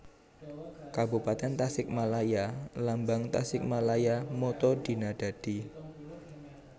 Kabupatèn TasikmalayaLambang TasikmalayaMotto Dina Dadi